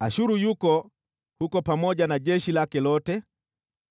“Ashuru yuko huko pamoja na jeshi lake lote,